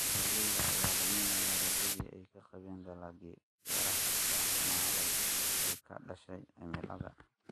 Beeralayda ayaa luminaya rajadii ay ka qabeen dalaggii beeraha oo xumaaday ee ka dhashay cimilada.